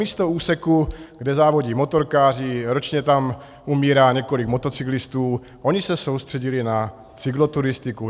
Místo úseku, kde závodí motorkáři, ročně tam umírá několik motocyklistů, oni se soustředili na cykloturistiku.